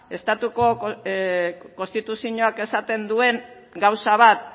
estatuko konstituzioak esaten duen gauza bat